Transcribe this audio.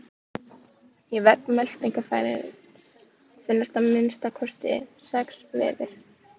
Í vegg meltingarfæris finnast að minnsta kosti sex vefir.